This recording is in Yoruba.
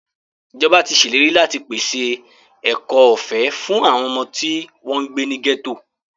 Ìjọba tí ṣèlérí láti pèse ẹ̀kọ́ ọ̀fẹ́ fún àwọn ọmọ tí wọ́n ń gbé ní gẹ́tò.